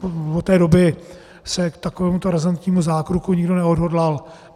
Od té doby se k takovémuto razantnímu zákroku nikdo neodhodlal.